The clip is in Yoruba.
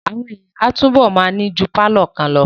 Àwọn èèyàn máa túbọ̀ ma ní ju pálọ̀ kan lọ